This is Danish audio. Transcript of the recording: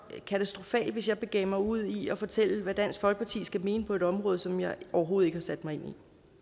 katastrofalt hvis jeg begav mig ud i at fortælle hvad dansk folkeparti skal mene på et område som jeg overhovedet ikke har sat mig ind i